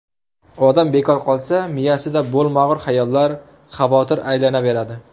Odam bekor qolsa, miyasida bo‘lmag‘ur xayollar, xavotir aylanaveradi.